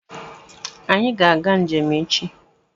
Anyị ga-aga njem echi